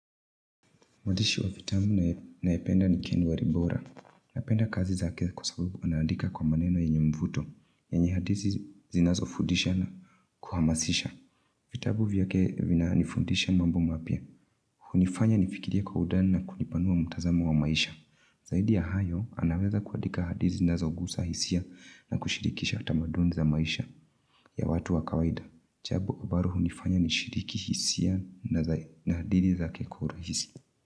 Mwandishi wa vitabu ninayependa ni Ken Walibora. Ninapenda kazi zake kwa sababu anaandika kwa maneno yenye mvuto. Yenye hadithi zinazofudisha na kuhamasisha. Vitabu vyake vinanifundisha mambo mapya. Hunifanya nifikirie kwa undani na kuupanua mtazamo wa maisha. Zaidi ya hayo, anaweza kuandika hadithi zinazogusa hisia na kushirikisha utamaduni za maisha ya watu wa kawaida. Jambo ambalo hunifanya nishiriki hisia na adili zake kwa urahisi.